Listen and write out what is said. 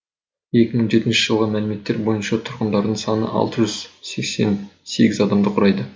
екі мың жетінші жылғы мәліметтер бойынша тұрғындарының саны алты жүз сексен сегіз адамды құрайды